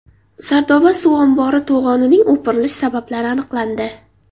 Sardoba suv ombori to‘g‘onining o‘pirilish sabablari aniqlandi.